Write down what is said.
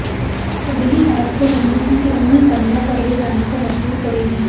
अगली आपको ज़िंदगी के उन्हीं पन्नों पर ले जाने को मजबूर करेगी